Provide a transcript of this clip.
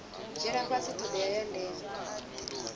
dzhiela fhasi thodea ya ndeme